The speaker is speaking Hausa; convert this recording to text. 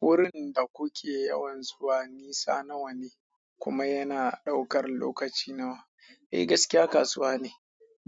Wurin da kuke yawan zuwa nisa nawa ne kuma yana ɗaukar lokaci nawa? Eh gaskiya kasuwa ne